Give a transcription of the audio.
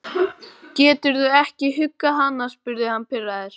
Geturðu ekki huggað hana? spurði hann pirraður.